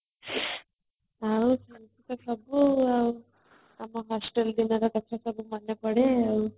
ଆଉ ଏମିତି ତ ସବୁ ଆଉ ଆମ hostel ଦିନର କଥା ସବୁ ମନେପଡେ ଆଉ